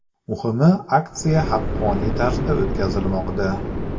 Muhimi, aksiya haqqoniy tarzda o‘tkazilmoqda!